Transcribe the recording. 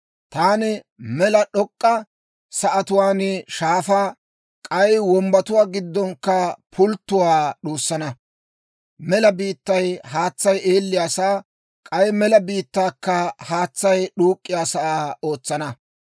Taani mela d'ok'k'a sa'atuwaan shaafaa, k'ay wombbatuwaa giddonkka pulttuwaa d'uussana. Mela biittay haatsay eelliyaasaa, k'ay mela biittaakka haatsay d'uuk'k'iyaasaa ootsana.